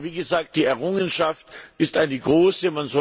Aber, wie gesagt, die Errungenschaft ist eine große.